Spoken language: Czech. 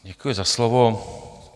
Děkuji za slovo.